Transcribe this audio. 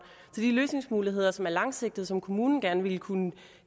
så de løsningsmuligheder som er langsigtede og som kommunen gerne ville kunne